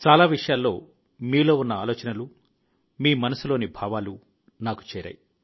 చాలా విషయాల్లో మీలో ఉన్న ఆలోచనలు మీ మనసులోని భావాలు నాకు చేరాయి